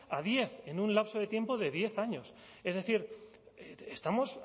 a diez en un lapso de tiempo de diez años es decir estamos